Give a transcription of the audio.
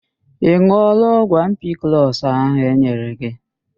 Ị ṅụọla ọgwụ ampiklọs ahụ e nyere gị